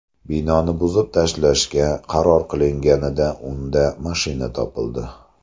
Binoni buzib tashlashga qaror qilinganida unda mashina topildi.